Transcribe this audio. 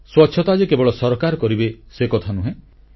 ସ୍ୱଚ୍ଛତା କେବଳ ସରକାର କରିବେ ସେକଥା ନୁହେଁ